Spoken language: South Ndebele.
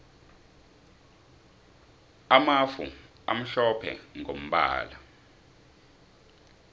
amafu amhlophe mgombala